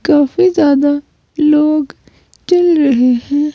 काफी ज्यादा लोग चल रहे हैं।